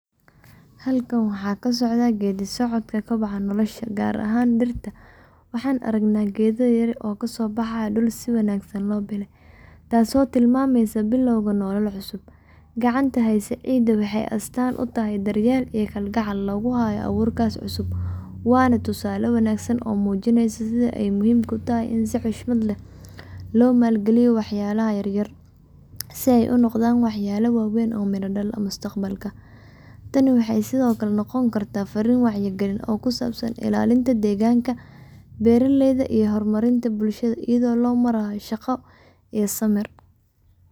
Halkaan waxaa ka socda geedi socodka koboca nolosha, gaar ahaan dhirta. Waxaan aragnaa geedo yaryar oo kasoo baxay dhul si wanaagsan loo beelay, taasoo tilmaamaysa bilowga nolol cusub. Gacanta haynaysa ciidda waxay astaan u tahay daryeel iyo kalgacal lagu hayo abuurkaas cusub. Waa tusaale wanaagsan oo muujinaya sida ay muhiimka u tahay in si xushmad leh loo maalgaliyo waxyaabaha yaryar, si ay u noqdaan waxyaabo waaweyn oo miro-dhal ah mustaqbalka. Tani waxay sidoo kale noqon kartaa fariin wacyigelin ah oo ku saabsan ilaalinta deegaanka, beeraleyda, ama horumarinta bulshada iyada oo loo marayo shaqo iyo samir.